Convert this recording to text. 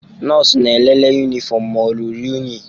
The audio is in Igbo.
Nọọsụ na-elele yunifọmụ ma o ruru unyi.